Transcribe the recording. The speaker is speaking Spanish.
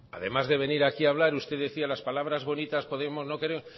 además de venir aquí a hablar usted decía las palabras bonitas podemos